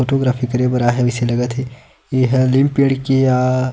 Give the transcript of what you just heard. photography करे बर आए हे जइसे लगत हे एहा नीम पेड़ के आए--